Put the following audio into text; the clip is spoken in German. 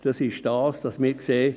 – Das ist es, denn wir sehen: